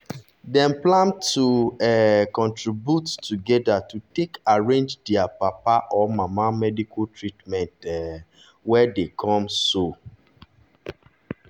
dem plan to um contribute together to take arrange dia papa or mama medical treatment um wey dey come so.